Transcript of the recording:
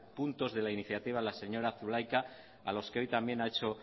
puntos de la iniciativa a la señora zulaika a los que hoy también ha hecho